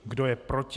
Kdo je proti?